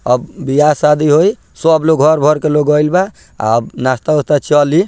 अब बिहा-शादी होई सब लोग घर भर के लोग आयिल बा अब नाश्ता-उश्ता चली।